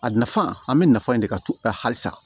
A nafa an bɛ nafa in de ka to halisa